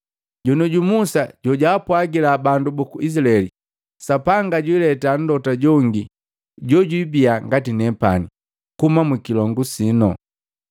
Jonioju Musa jojaapwagila bandu buku Izilaeli, ‘Sapanga jwileta mlota jongi jojwibia ngati nepani, kuuma mukilongu sino.’